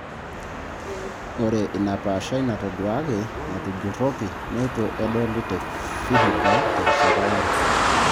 Ore ina paashai natoduaaki natujurroki neitu edoli te Vihiga terishata yare.